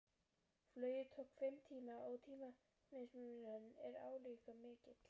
Flugið tók fimm tíma og tímamismunurinn er álíka mikill